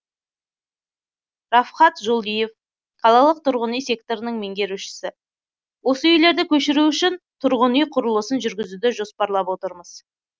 рафхат жолдиев қалалық тұрғын үй секторының меңгерушісі осы үйлерді көшіру үшін тұрғын үй құрылысын жүргізуді жоспарлап отырмыз